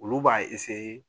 Olu b'a